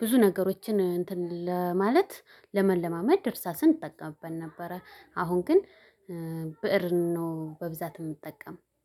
ብዙ ነገሮችን እንትን ለማለት ለመለማመጃ እርሳ እጠቀምበት ነበረ። አሁን ግን ብእር ነው በብዛት የምጠቀም።